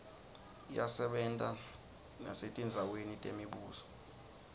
iyasebenta nesetindzaweni temibuso